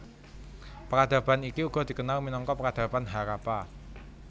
Peradaban iki uga dikenal minangka Peradaban Harappa